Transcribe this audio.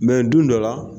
don dɔ la